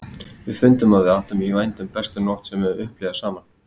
Við fundum að við áttum í vændum bestu nótt sem við höfðum upplifað saman.